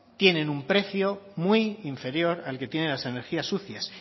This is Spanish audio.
tienen un precio muy inferior al que tienen las energías sucias